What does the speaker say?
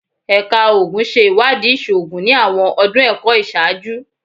Ẹka Oogun ṣe iwadii iṣoogun ni awọn ọdun ẹkọ iṣaaju